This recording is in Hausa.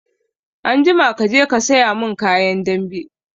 Anjima kaje ka saya mun kayan dambe!